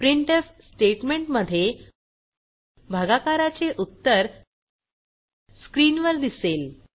printf statement मध्ये भागाकाराचे उत्तर स्क्रीनवर दिसेल